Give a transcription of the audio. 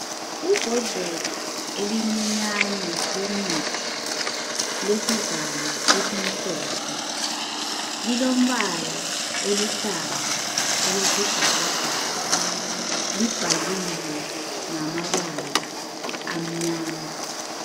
Imbodlela elincinyane lomuthi lesivalo esimhlophe. Lilombala oluhlaza okwesibhakabhaka. Libhaliwe ngamabala amnyama.